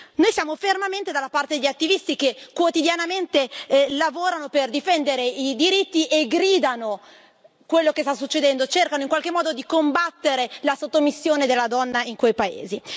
Noi siamo fermamente dalla parte degli attivisti che, quotidianamente, lavorano per difendere i diritti e gridano quello che sta succedendo, cercano in qualche modo di combattere la sottomissione della donna in quei paesi.